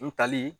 N tali